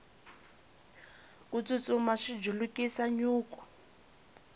ku tsutsuma swi julukisa nyuku